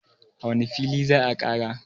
a wane fili za a Kara?